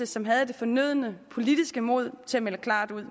som havde det fornødne politiske mod til at melde klart ud